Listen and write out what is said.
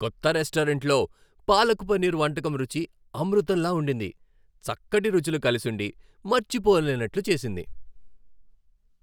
కొత్త రెస్టారెంట్లో పాలక్ పన్నీర్ వంటకం రుచి అమృతంలా ఉండింది, చక్కటి రుచులు కలిసుండి మర్చిపోలేనట్లు చేసింది.